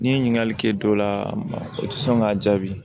N'i ye ɲininkali kɛ dɔ la a ma o tɛ sɔn k'a jaabi